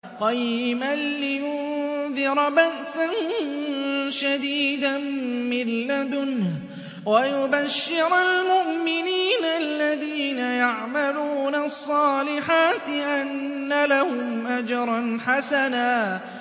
قَيِّمًا لِّيُنذِرَ بَأْسًا شَدِيدًا مِّن لَّدُنْهُ وَيُبَشِّرَ الْمُؤْمِنِينَ الَّذِينَ يَعْمَلُونَ الصَّالِحَاتِ أَنَّ لَهُمْ أَجْرًا حَسَنًا